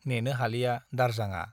नेनो हालिया दारजांआ।